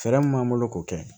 Fɛɛrɛ mun b'an bolo k'o kɛ